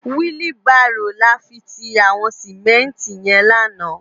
Wili bàró làfi ti àwòn simènti yèn làná